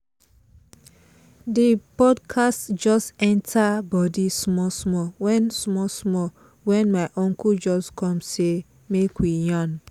the podcast just dey enter body small small when small small when my uncle just come say make we yarn